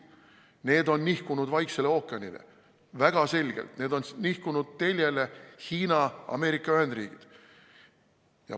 Need on väga selgelt nihkunud Vaiksele ookeanile, need on nihkunud Hiina – Ameerika Ühendriikide teljele.